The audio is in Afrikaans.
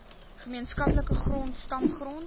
gemeenskaplike grond stamgrond